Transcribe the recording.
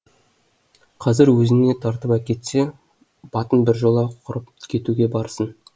қазір өзіне тартып әкетсе батын біржола құрып кетуге барсың